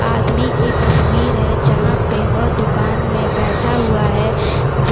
एक आदमी की तस्वीर हैं जहाँ पे वह दुकान पे बैठा हुआ हैंदु --